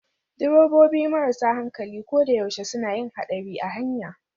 Direbobi marasa hankali ko da yaushe suna yin haɗari a hanya